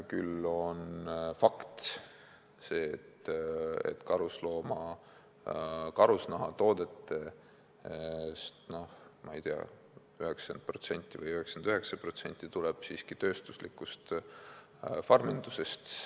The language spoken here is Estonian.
Samas on fakt, et karusnahatoodetest, ma ei tea, 90% või 99% tuleb siiski tööstuslikust farmindusest.